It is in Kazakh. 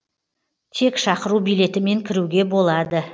тек шақыру билетімен кіруге болады